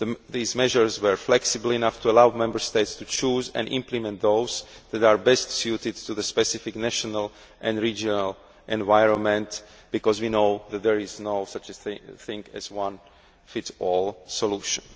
These measures were flexible enough to allow Member States to choose and implement those that are best suited to their specific national and regional environment, because we know that there is no such thing as a one size fits all' solution.